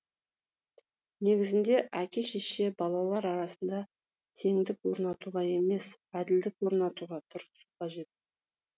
негізінде әке шеше балалар арасында теңдік орнатуға емес әділдік орнатуға тырысуы қажет